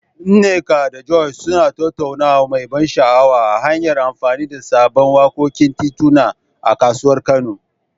Nneka da Joy suna tattaunawa mai ban sha'awa, ta hanyar amfani da sabbin wakokin tituna a kasuwar Kano.